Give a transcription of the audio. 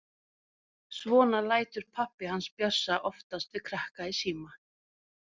Svona lætur pabbi hans Bjössa oftast við krakka í síma.